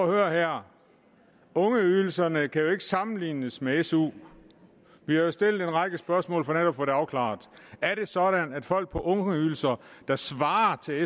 at høre her ungeydelserne kan jo ikke sammenlignes med su vi har jo stillet en række spørgsmål for netop at få det afklaret er det sådan at folk på ungeydelser der svarer til